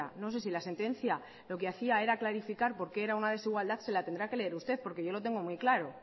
no sé si la sentencia lo que hacía era clarificar por qué era una desigualdad se la tendrá que leer usted porque yo lo tengo muy claro